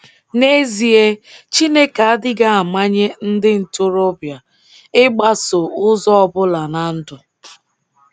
N’ezie l, Chineke adịghị amanye ndị ntorobịa ịgbaso ụzọ ọbụla na ndụ.